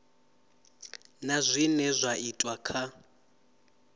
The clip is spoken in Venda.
na zwine zwa itwa kha